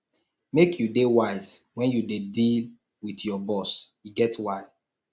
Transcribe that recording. make you dey wise wen you dey deal wit your boss e get why